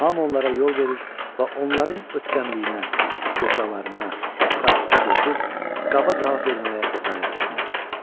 Hamı onlara yol verir və onların ötkəmliyinə, istehzalarına sakitcə dözür, qaba cavab verməyə cəsarət etmirdilər.